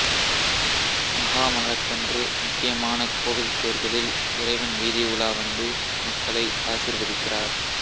மகாமஹத்தன்று முக்கியமான கோவில் தேர்களில் இறைவன் வீதி உலா வந்து மக்களை ஆசீர்வதிக்கிறார்